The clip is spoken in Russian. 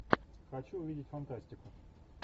хочу увидеть фантастику